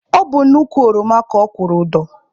Ọ bụ n'ukwu ọroma ka ọ kwụrụ ụdọ.